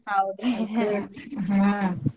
ಹೌದರೀ .